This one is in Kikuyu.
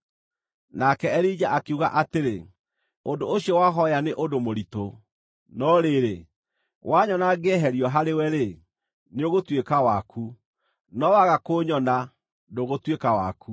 Nake Elija akiuga atĩrĩ, “Ũndũ ũcio wahooya nĩ ũndũ mũritũ, no rĩrĩ, wanyona ngĩeherio harĩwe-rĩ, nĩũgũtuĩka waku, no Waga kũnyona ndũgũtuĩka waku.”